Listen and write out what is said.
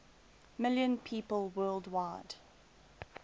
million people worldwide